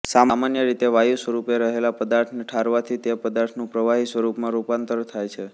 સામાન્ય રીતે વાયુ સ્વરુપે રહેલા પદાર્થને ઠારવાથી તે પદાર્થનું પ્રવાહી સ્વરુપમાં રુપાંતર થાય છે